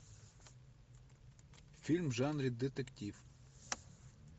фильм в жанре детектив